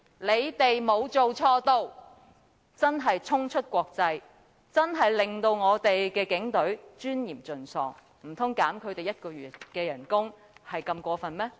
"這句話真的可謂衝出國際，令我們警隊的尊嚴盡喪，難道扣減他們1個月薪酬是如此過分嗎？